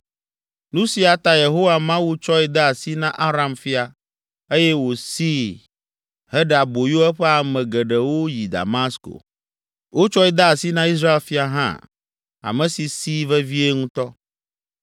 Nu sia ta Yehowa Mawu tsɔe de asi na Aram fia eye wosii heɖe aboyo eƒe ame geɖewo yi Damasko. Wotsɔe de asi na Israel fia hã, ame si sii vevie ŋutɔ.